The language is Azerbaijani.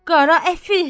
Qara əfi!